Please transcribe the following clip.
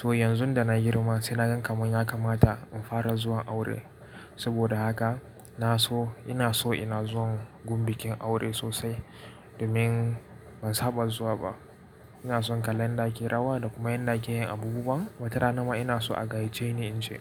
To yanzu da na girma sai na ga kamar ya kamata in fara zuwa aure. Saboda haka na so ina so ina zuwan gun bikin aure sosai domin ban saba zuwa ba. Ina son kalla yadda ake rawa da kuma yadda ake yin abubuwan, watarana ma ina so a gayyace ni in je.